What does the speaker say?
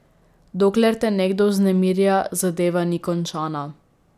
Dokler te nekdo vznemirja, zadeva ni končana.